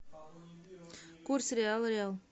курс реала реал